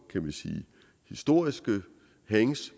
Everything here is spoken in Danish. historiske hangs